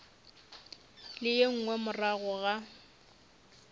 le ye nngwe morago ga